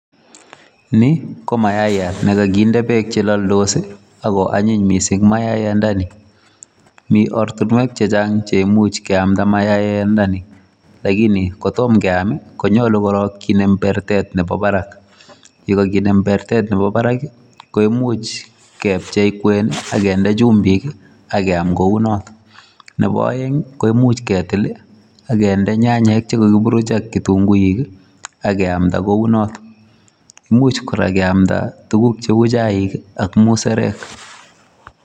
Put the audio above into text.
Ni, ko mayaiyat ne kakinde beek che laldos, ako anyiny missing mayiyandani. Mi oratinwek chehchang' cheimuch keamda myaiyandani. Lakini kotom keam, konyolu korok kinem bertet nebo barak. Yekakinem bertet nebo barak, koimuch kepchei kwen, akende chumbik, akeam kounot. Nebo aeng, koimuch ketil, akende nyanyek che kakiburuch ak kitunguik, akemda kounot. Imuch kora keamda tuguk cheu chaik ak musarek